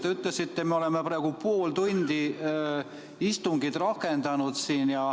Te ütlesite, me oleme praegu pool tundi istungit rakendanud.